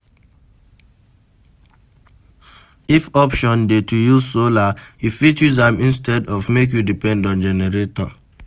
If option dey to use solar you fit use am instead of make you depend on generator